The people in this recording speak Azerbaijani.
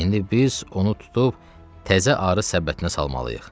İndi biz onu tutub təzə arı səbətinə salmalıyıq.